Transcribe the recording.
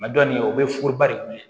nin ye o bɛ furuba de kun ye